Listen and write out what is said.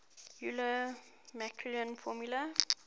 euler maclaurin formula